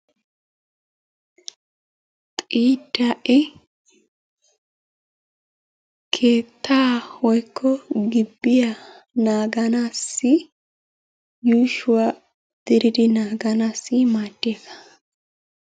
Xiidda'e keettaa woykko gibbiyaa naaganaassi yuushuwa diridi naaganaassi maadiyaga.